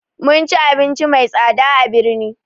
Mun ci abinci mai tsada a birni